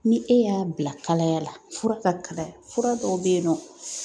Ni e y'a bila kalaya la fura ka kalaya fura dɔw bɛ yen nɔ